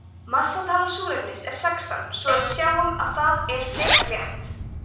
massatala súrefnis er sextán svo að við sjáum að það er frekar létt